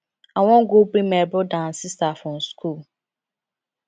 i wan go bring my broda and sista from skool